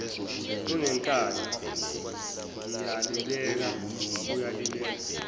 unenkani ngiyalibeka uyalibeka